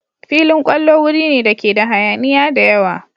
Filin kwallo wuri ne dake da hayaniya da yawa.